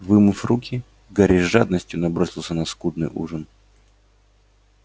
вымыв руки гарри с жадностью набросился на скудный ужин